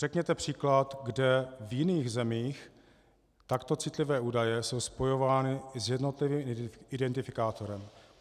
Řekněte příklad, kde v jiných zemích takto citlivé údaje jsou spojovány s jednotlivým identifikátorem.